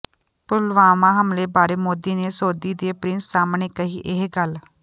ਪੁਲਵਾਮਾ ਹਮਲੇ ਬਾਰੇ ਮੋਦੀ ਨੇ ਸਾਊਦੀ ਦੇ ਪ੍ਰਿੰਸ ਸਾਹਮਣੇ ਕਹੀ ਇਹ ਗੱਲ